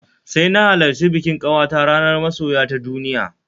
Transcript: Sai na halarci bikin ƙawata ranar Masoya ta duniya